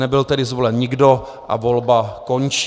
Nebyl tedy zvolen nikdo a volba končí.